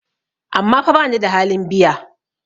amma fa bani da halin biya?